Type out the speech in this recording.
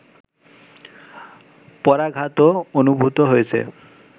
পরাঘাতও অনুভূত হয়েছে